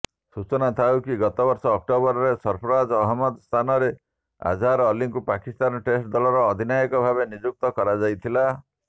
ସୂଚନାଥାଉକି ଗତବର୍ଷ ଅକ୍ଟୋବରରେ ସର୍ଫରାଜ୍ ଅହମ୍ମଦଙ୍କ ସ୍ଥାନରେ ଆଝାର ଅଲ୍ଲିଙ୍କୁ ପାକିସ୍ତାନ ଟେଷ୍ଟ ଦଳର ଅଧିନାୟକ ଭାବେ ନିଯୁକ୍ତ କରାଯାଇଥିଲା